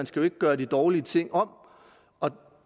skal gøre de dårlige ting om